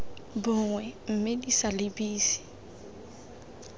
bongwe mme di sa lebise